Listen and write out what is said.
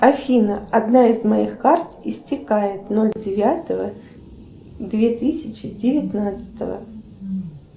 афина одна из моих карт истекает ноль девятого две тысячи девятнадцатого